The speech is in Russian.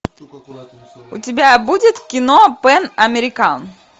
у тебя будет кино пэн американ